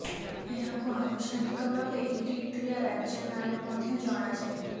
ଏହାକୁ ଆନୁଷ୍ଠାନିକ ଭାବେ ଇରିଟ୍ରିଆ ରାଜ୍ୟ ନାଁରେ ମଧ୍ୟ ଜଣାଯାଏ